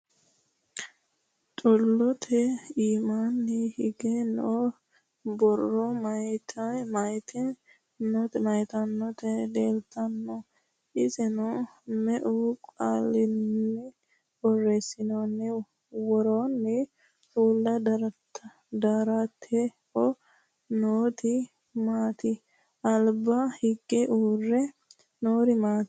Xulotte immanni higge noo borro mayiittanotti nootti leelittanno? Isenno meu qaalinni borreessanitinno? Woroonni uulla daratteho nootti maatti? Alibba hige uure noori maatti?